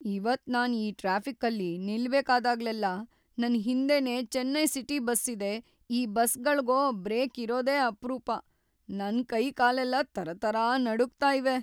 ಇವತ್ ನಾನ್‌ ಈ ಟ್ರಾಫಿಕ್ಕಲ್ಲಿ ನಿಲ್ಬೇಕಾದಾಗ್ಲೆಲ್ಲ ನನ್ ಹಿಂದೆನೇ ಚೆನ್ನೈ ಸಿಟಿ ಬಸ್ ಇದೆ‌, ಈ ಬಸ್‌ಗಳ್ಗೋ ಬ್ರೇಕ್‌ ಇರೋದೇ ಅಪ್ರೂಪ.. ನನ್‌ ಕೈ-ಕಾಲೆಲ್ಲ ತರತರ ನಡುಗ್ತಾ ಇವೆ.